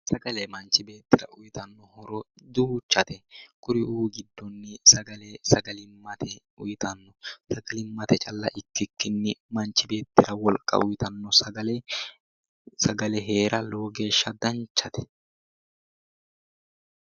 Sagale manchi beetira uyitanno horo duuchate kuriuu giddonni sagalimmate calla ikkikinni manchi beetira wolqa uyitanno sagale heera lowo geshsha danchate .